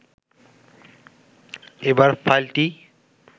এবার ফাইলটি